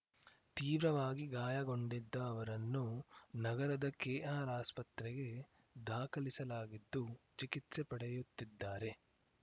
ತೀವ್ರವಾಗಿ ಗಾಯಗೊಂಡಿದ್ದ ಅವರನ್ನು ನಗರದ ಕೆಆರ್‌ಆಸ್ಪತ್ರೆಗೆ ದಾಖಲಿಸಲಾಗಿದ್ದು ಚಿಕಿತ್ಸೆ ಪಡೆಯುತ್ತಿದ್ದಾರೆ